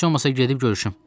Heç olmasa gedib görüşüm.